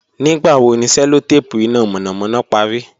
Nigbawo ni cellotape ina mọnamọna pari?